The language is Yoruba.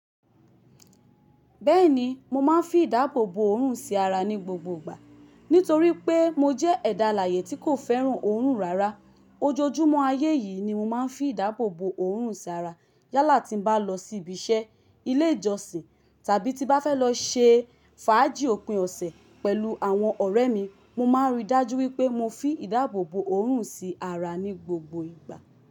Bẹ́ẹ̀ni mo máa ń fi ìdáàbòbò òórùn sí ara ní gbogbo ìgbà. Nítorí pé mo jẹ́ ẹ̀dà alààyè tí kò fẹ́ràn òórùn rárá. Ojoojúmọ́ ayé yìí ni mo máa ń fi ìdáàbòbò òórùn sí ara. Yálà tí n bá lọ sí ibi iṣẹ́, ilé ìjọsìn tàbí tí n bá fẹ́ lọ ṣe fàájì òpin ọ̀sẹ̀ pẹ̀lú àwọn ọ̀rẹ́ mi, mo máa ń ríi dájú wípé mo fí ìdáàbòbò òórùn sí ara ní gbogbo ìgbà.